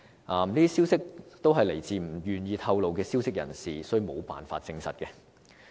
這些消息均來自不願意透露名字的消息人士，所以無法證實。